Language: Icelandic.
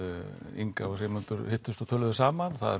Inga og Sigmundur hittust og töluðu saman og það